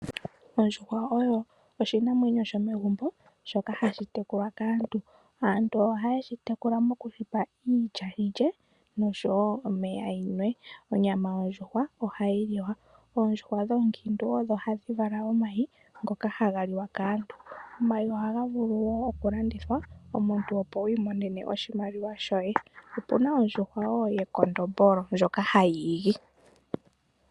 Ondjuhwa oyo oshinamwenyo shomegumbo shoka hashi tekulwa kaantu. Aantu ohaye shi tekula mokushipa iilya yilye noshowo omeya yinwe. Onyama yondjuhwa ohayi liwa. Oondjuhwa dho oonkiitu odho hadhi vala omayi ngoka haga liwa kaantu. Omayi ohaga vulu wo okulandithwa omuntu opo wiimonene oshimaliwa shoye. Opuna ondjuhwa wo yekondombolo ndjoka hayi igi.